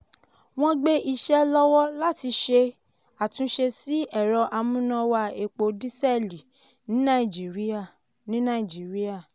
wọ́n gbé iṣẹ́ lọ́wọ́ láti ṣe àtúnṣe sí ẹ̀rọ amúnáwá epo dísẹ́lì ní nàìjíríà. ní nàìjíríà.